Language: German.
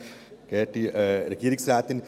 Sie haben das Wort.